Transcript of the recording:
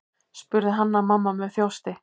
spurði Hanna-Mamma með þjósti.